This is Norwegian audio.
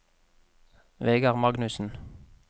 Vegar Magnussen